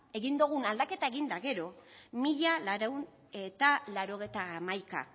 egin dogun aldaketa egin da gero mila laurehun eta laurogeita hamaika